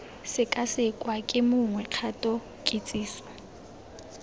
sekasekwa ke mongwe kgato kitsiso